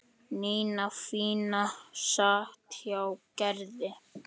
Nína fína sat hjá Gerði.